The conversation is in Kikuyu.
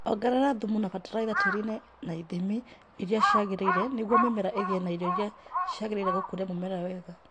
Ongerera thumu na fatalaitha tĩtĩrinĩ na ithimi iria ciagĩrĩire nĩguo mimera ĩgĩe na irio iria ciagĩrĩire gũkũria mũmera wega